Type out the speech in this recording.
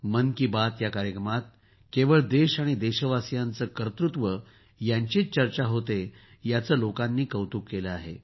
मन की बात या कार्यक्रमात केवळ देश आणि देशवासीयांचे कर्तुत्व यांचीच चर्चा होते याचे लोकांनी कौतुक केले आहे